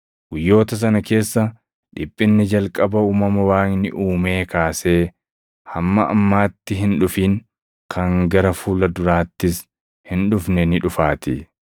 Guyyoota sana keessa dhiphinni jalqaba uumama Waaqni uumee kaasee hamma ammaatti hin dhufin, kan gara fuula duraattis hin dhufne ni dhufaatii.